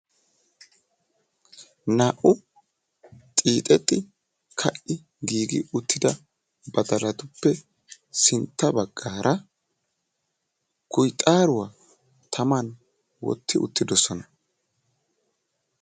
Naa''u xiixetti ka''i giigi uttida badalatuppe sintta baggaara kuyxaaruwa taman wotti uttidosona.